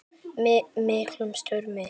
miklum stormi.